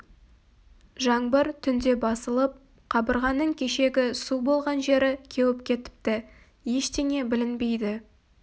жаңбыр түнде басылып қабырғаның кешегі су болған жері кеуіп кетіпті ештеңе білінбейді